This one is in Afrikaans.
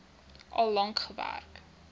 al lank gewerk